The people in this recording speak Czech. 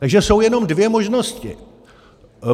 Takže jsou jenom dvě možnosti.